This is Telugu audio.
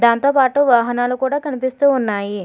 దాంతోపాటు వాహనాలు కూడా కనిపిస్తూ ఉన్నాయి.